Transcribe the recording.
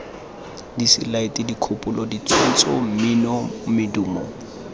diselaete dikgopolo ditshwantsho mmino medumo